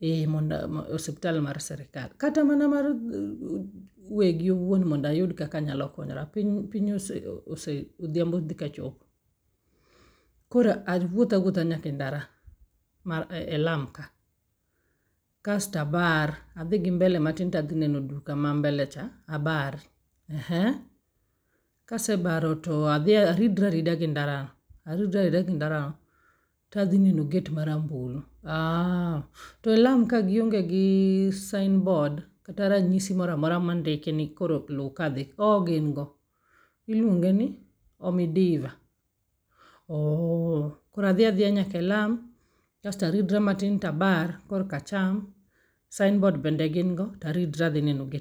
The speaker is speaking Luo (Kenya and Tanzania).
E monda osiptal mar sirkal, kata mana mar wegi owuon mondayud kaka anyalo konyora piny ose ose odhiambo dhi ka chopo. Koro awuoth awuotha nyaka e ndara, e lam ka? kasta abar, adhi gi mbele matin tadhi neno duka ma mbele cha, abar, ehe? Kasebaro to adhi aridra arida gi ndara no, aridra arida gi ndra no tadhi neno gate marambulu? To e lam ka gionge gi sign board kata ranyisi moro amoro mondiki ni oro lu ka dhi, ooh gin go. Iluongo ni Omidiva, ooh, koro adhi adhiya nyakelam kasto aridra matin kasta bar korka acham, sign board bende gin go taridra adhi neno gate.